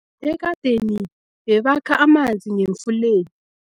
Ekadeni bebakha amanzi ngemfuleni.